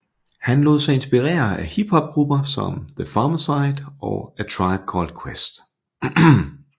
Han lod sig inspirere af hiphopgrupper som The Pharcyde og A Tribe Called Quest